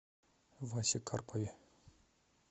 васе карпове